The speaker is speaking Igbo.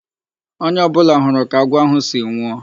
Onye ọ bụla hụrụ ka agwọ ahụ si nwụọ.